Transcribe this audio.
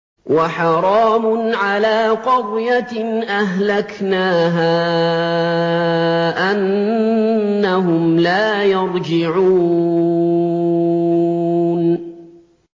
وَحَرَامٌ عَلَىٰ قَرْيَةٍ أَهْلَكْنَاهَا أَنَّهُمْ لَا يَرْجِعُونَ